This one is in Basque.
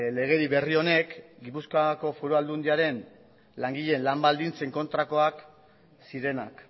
legedi berri honek gipuzkoako foru aldundiaren langileen lan baldintzen kontrakoak zirenak